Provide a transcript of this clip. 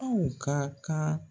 Aw ka kan.